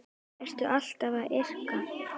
Ertu alltaf að yrkja?